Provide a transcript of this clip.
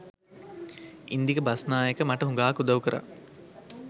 ඉන්දික බස්නායක මට හුඟාක් උදව් කරා.